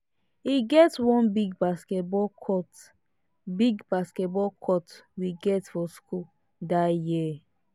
e get one big basketball court big basketball court we get for school dat year